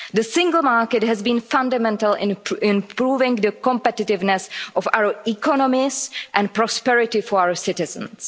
The single market has been fundamental in improving the competitiveness of our economies and prosperity for our citizens.